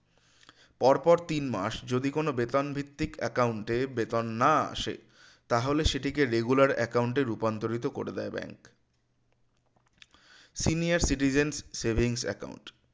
পরপর তিনমাস যদি কোন বেতন ভিত্তিক account এ বেতন না আসে তাহলে সেটিকে regular account এ রূপান্তরিত করে দেয় bank senior citizen savings account